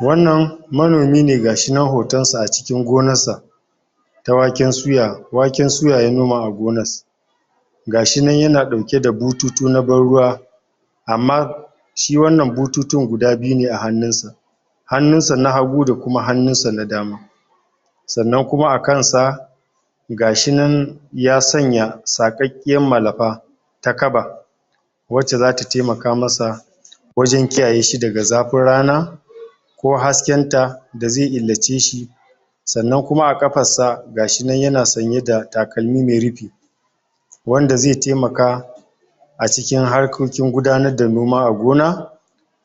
wannan gashi nan htonsa a cikin gonarsa ta waken suya waken suya ya noima a gonas gashi nan yana ɗauke da bututu na ban ruwa amma shi wannan bututun guda biyu ne a hannunsa hannunsa na hagu da kuma hannunsa na dama sannan kuma a kansa gashi nan ya sanya saƙaƙƙiyan malafa ta kaba wacce zata taimaka masa wajen kiyaye shi daga zafin rana ko hasken ta da zai illace shi sannan kuma a ƙafarsa gashi nan yana sanyeda takalmi mai rufi wanda zai taimaka a cikin harkokin gudanarda noma a gona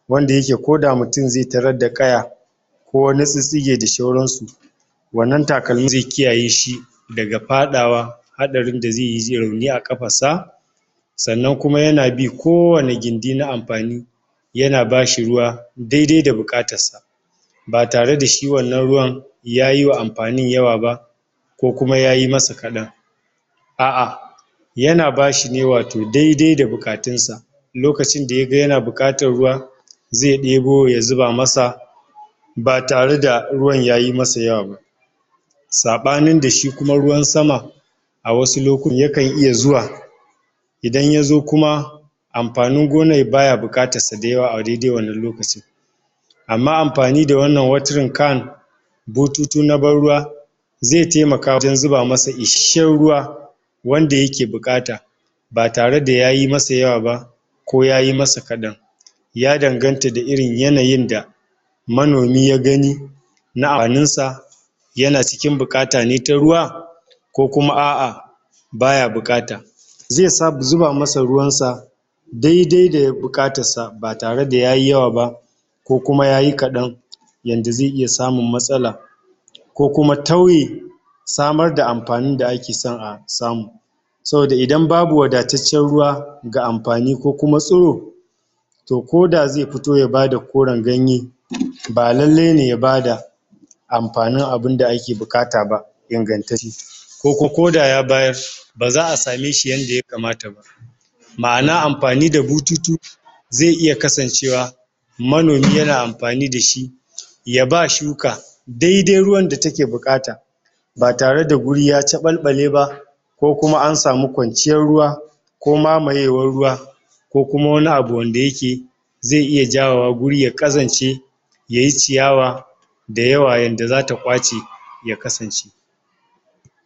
wanda yake koda mutum zai tarad da ƙaya ko wani tsittsige da shauransu wannan takalmin zai kiyaye shi daga faɗawa haɗarin da zai ji rauni a ƙafarsa sannan kuma yana bi kowanne gindi na amfani yana bashi ruwa daidai da buƙatarsa ba tareda shi wannan ruwan ya yiwa amfanin yawa ba ko kuma ayi masa kaɗan a'a yana bashine wato daidai da buƙatunsa lokacinda yaga yana buƙatar ruwa zai ɗebo ya zuba masa ba tareda ruwan yayi masa yawa ba saɓanin da kuma shi ruwan sama a wasu lokutan yaka iya zuwa idan yazo kuma amfanin gonar baya buƙatar sa da yaaw a daidai wannan lokacin amma amfani da wannan watering can bututu na ban ruwa zai taimaka wajen zuba masa ishasshen ruwa wanda yake buƙata ba tareda yayi masa yawa ba ko yayi masa kaɗan ya danganta da irin yanayinda manomin ya gani na amfaninsa yana cikin buƙata ne ta ruwa ko kuma a'a baya buƙata zai zuba masa ruwansa daidai da buƙatarsa ba tare da yayi yawa ba ko kuma yayi kaɗan yanda zai iya samun matsala ko kuma tauye samarda amfaninda ake son a samu saboda idan babu wadataccen ruwa ga amfani ko kuma tsuro to koda zai fito ya bada koran ganye ba lallai ne ya bada amfanin abinda ake buƙata ba ingantacce koko koda ya bayar baza'a same shi yanda ya kamata ba ma'ana amfani da bututu zai iya kasancewa manomi yana amfani dashi yaba shuka daidai ruwan da take buƙata ba tareda wuri ya caɓalɓaleba ko kuma an samu kwanciyar ruwa ko mamayewar ruwa ko kuma wani abu wanda yake zai iya jawowa guri ɗaya yayi ciyawa da yawa zata kwace ya kasance